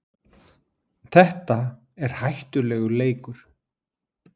Þetta er hættulegur leikur